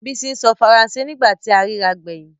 Bísí ń sọ Faransé ní ìgbà tí a rírà gbẹ̀yìn